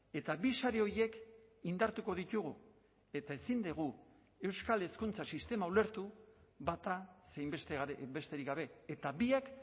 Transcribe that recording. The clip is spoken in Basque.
eta bi sari horiek indartuko ditugu eta ezin dugu euskal hezkuntza sistema ulertu bata zein besterik gabe eta biak